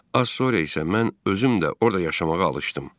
Az sonra isə mən özüm də orada yaşamağa alışdım.